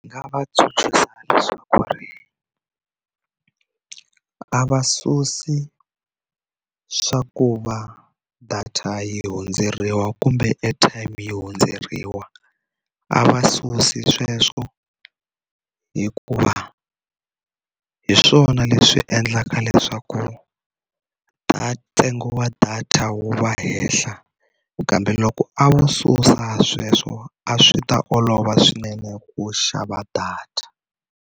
Nga va tsundzuxa leswaku ri a va susi swa ku va data yi hundzeriwa kumbe airtime yi hundzeriwa a va susi sweswo hikuva hi swona leswi endlaka leswaku ta ntsengo wa data wu va ehehla kambe loko a vo susa sweswo a swi ta olova swinene ku xava data.